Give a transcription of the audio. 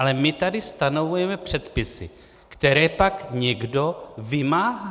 Ale my tady stanovujeme předpisy, které pak někdo vymáhá!